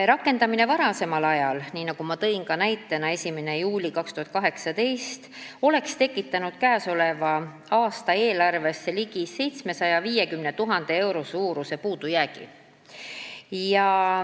Rakendamine varasemalt, nii nagu ma tõin ka näitena, 1. juulil 2018, oleks tekitanud käesoleva aasta eelarvesse ligi 750 000 euro suuruse puudujäägi.